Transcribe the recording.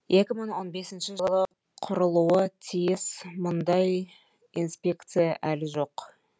екі мың он бесінші жылы құрылуы тиіс мұндай инспекция әлі жоқ